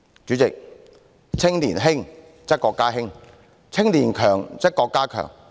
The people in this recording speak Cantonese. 主席，"青年興則國家興，青年強則國家強。